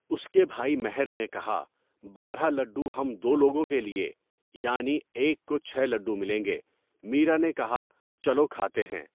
اس کے بھائی مہر نے کہا، بارہ لڈو ہم دو لوگوں کے لئے، یعنی ایک کو چھ لڈو ملیں گے۔ میرا نے کہا، چلو کھاتے ہیں!